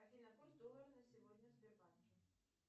афина курс доллара на сегодня в сбербанке